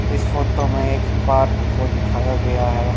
इस फोटो में एक पार्क को दिखाया गया है।